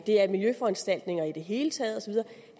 det er miljøforanstaltninger i det hele taget